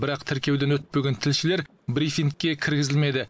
бірақ тіркеуден өтпеген тілшілер брифингке кіргізілмеді